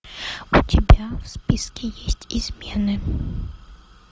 у тебя в списке есть измены